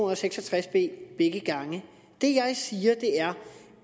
og seks og tres b begge gange det jeg siger er